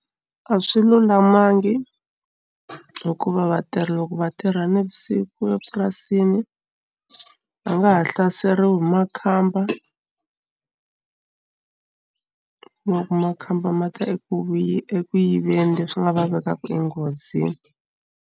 A swi lulamangi hikuva vatirhi loko va tirha navusiku epurasini va nga ha hlaseriwi hi makhamba ku ma ku makhamba ma ta eku vuyi eku yiveni leswi nga va vekaka enghozini.